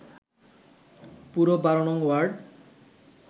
পুরো ১২নং ওয়ার্ড